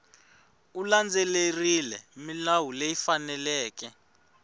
u landzelerile milawu leyi faneleke